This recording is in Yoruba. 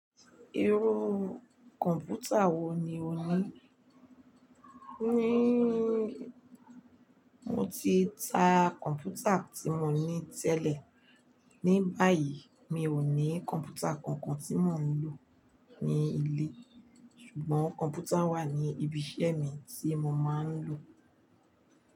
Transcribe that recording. Irú kọ̀ǹpútà wo ni o ní? Ni, mo ti ta kọ̀ǹpútà tí mo ní tẹ́lẹ̀. Ni báyìí, mi ò ní kọ̀ǹpútà kankan tí mò ń lò ní ilé. Ṣùgbọ́n kọ̀ǹpútà wà ní ibi iṣẹ́ mi tí mo máa ń lò.